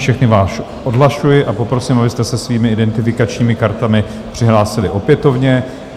Všechny vás odhlašuji a poprosím, abyste se svými identifikačními kartami přihlásili opětovně.